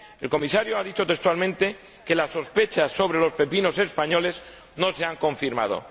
El Comisario ha dicho textualmente que las sospechas sobre los pepinos españoles no se han confirmado.